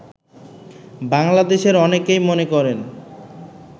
বাংলাদেশের অনেকেই মনে করেন